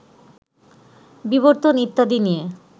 বিবর্তন ইত্যাদি নিয়ে